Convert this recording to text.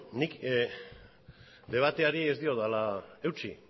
nik debateari ez diodala eutsi